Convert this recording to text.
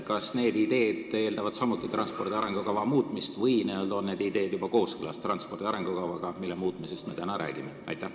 Kas need ideed eeldavad samuti transpordi arengukava muutmist või on need ideed juba kooskõlas arengukavaga, mille muutmisest me täna räägime?